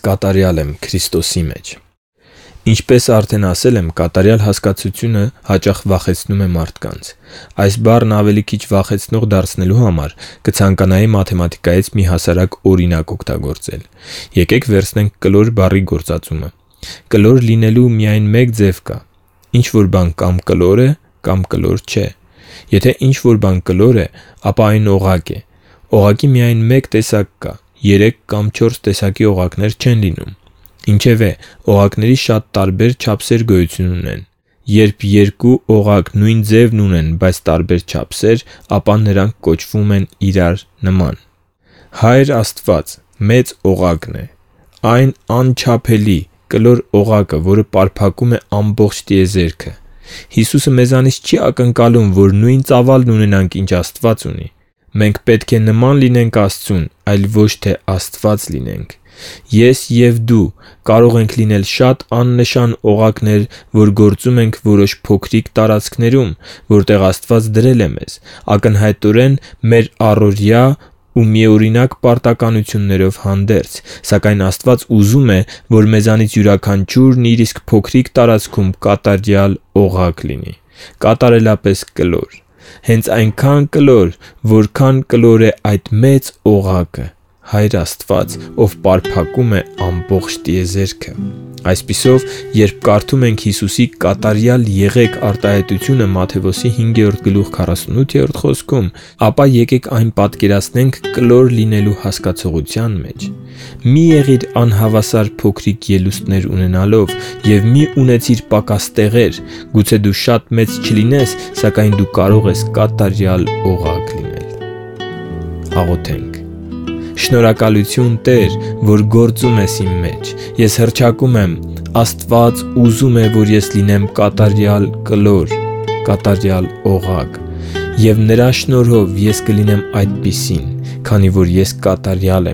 կատարյալ եմ Քրիստոսի մեջ Ինչպես արդեն ասել եմ, կատարյալ հասկացությունը հաճախ վախեցնում է մարդկանց։ Այս բառն ավելի քիչ վախենալի դարձնելու համար կցանկանայի մաթեմատիկայից մի հասարակ օրինակ օգտագործել։ Եկե՛ք վերցնենք կլոր բառի գործածումը։ Կլոր լինելու միայն մեկ ձև կա։ Ինչ-որ բան կա՛մ կլոր է, կա՛մ կլոր չէ։ Եթե ինչ-որ բան կլոր է, ապա այն օղակ է։ Օղակի միայն մեկ տեսակ կա. երեք կամ չորս տեսակի օղակներ չեն լինում։ Ինչևէ, օղակների շատ տարբեր չափեր գոյություն ունեն։ Երբ երկու իր նույն ձևն ունեն, բայց տարբեր չափեր ունեն, ապա նրանք կոչվում են «նման»։ Հայր Աստված մեծ օղակն է՝ այն անչափելի կլոր օղակը, որը պարփակում է ամբողջ տիեզերքը։ Հիսուսը մեզանից չի ակնկալում, որ նույն ծավալն ունենանք, ինչ Աստված ունի։ Մենք պետք նման լինենք Աստծուն, այլ ոչ թե Աստված։ Ես և դու կարող ենք լինել շատ աննշան օղակներ, որ գործում ենք որոշ փոքրիկ տարածքներում, որտեղ Աստված դրել է մեզ՝ ակնհայտորեն մեր առօրյա ու միօրինակ պարտականություններով հանդերձ։ Սակայն Աստված ուզում է, որ մեզանից յուրաքանչյուրն իր իսկ փոքրիկ տարածքում կատարյալ օղակ լինի։ Կատարելապես կլոր։ Հենց այնքան կլոր, որքան այդ «մեծ օղակը»՝ Հայր Աստված, ով պարփակում է ամբողջ տիեզերքը։ Այսպիսով, երբ կարդում եք Հիսուսի «կատարյա՛լ եղեք» (Մատթեոս 5:48) հրամանը, այն պատկերացրեք «կլոր» լինելու հասկացության միջոցով։ Մի՛ եղիր անհավասար՝ փոքրիկ ելուստներ ունենալով։ Եվ մի՛ ունեցիր պակաս տեղեր։ Գուցե դու շատ մեծ չլինես, սակայն դու կարող ես կատարյալ օղակ լինել։ Շնորհակալությու՛ն, Տե՛ր, որ գործում ես իմ մեջ։ Ես հռչակում եմ ՝ Աստված ուզում է, որ ես լինեմ «կատարյալ օղակ», և Նրա շնորհով ես կլինեմ այդպիսին, քանի որ ես կատարյալ